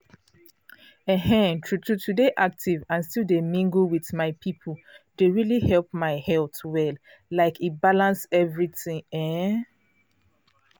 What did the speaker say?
um true true to dey active and still dey mingle with um people dey really help my health well like e balance everything like ehn.